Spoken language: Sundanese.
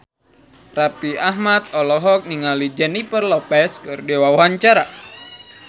Raffi Ahmad olohok ningali Jennifer Lopez keur diwawancara